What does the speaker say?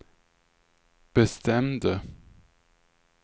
bestämde